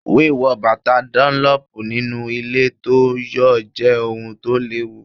Wíwo bàtà dúnlọ́pù nínú ilẹ̀ tó ń yọ̀ jẹ́ ohun tó léwu.